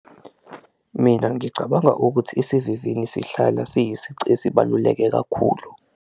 Mina ngicabanga ukuthi isivivini sihlala siyisici esibaluleke kakhulu.